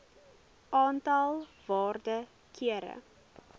aantal waarde kere